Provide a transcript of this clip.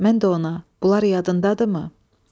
Mən də ona, bunlar yadındadırımı?